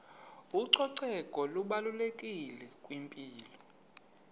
ucoceko lubalulekile kwimpilo